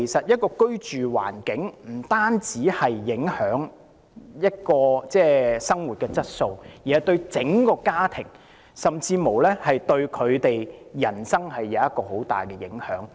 因此，居住環境不單影響生活質素，對整個家庭甚至人生也有很大影響。